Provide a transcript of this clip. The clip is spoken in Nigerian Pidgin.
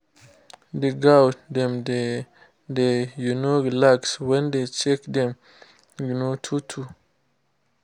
the goat dem dey dey um relax when we dey check dem um two two